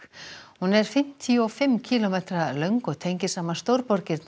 hún er fimmtíu og fimm kílómetra löng og tengir saman